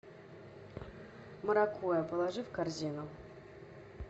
маракуйя положи в корзину